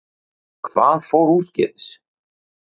Hvað fór úrskeiðis?